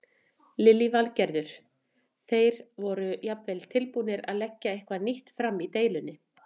Lillý Valgerður: Þeir voru jafnvel tilbúnir að leggja eitthvað nýtt fram í deilunni?